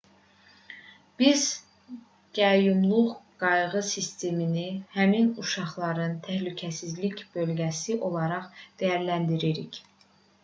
biz qəyyumluq qayğı sistemini həmin uşaqların təhlükəsizlik bölgəsi olaraq dəyərləndiririk